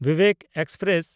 Vivek express